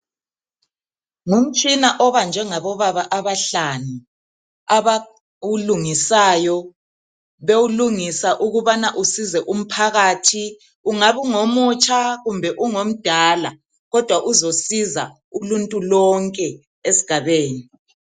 Ngumtshina obanjwe ngabobaba abahlanu abawulungisayo bewulungisa ukubana usize umphakathi. Ungabe ungomutsha kumbe ungomdala kodwa uzosiza uluntu lonke esigabeni.